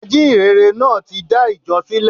Ajíhìnrere náà tí dá ìjọ sílè